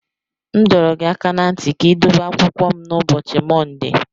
M dọrọ gị aka ná ntị ka ị dobe akwụkwọ m n'ụbọchị Mọnde.